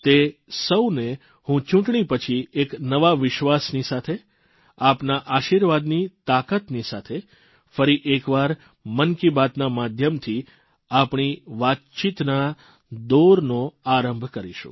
તે સૌને હું ચૂંટણી પછી એક નવા વિશ્વાસની સાથે આપના આશીર્વાદની તાકાતની સાથે ફરી એક વાર મન કી બાતના માધ્યમથી આપણી વાતચીતના દોરનો આરંભ કરીશું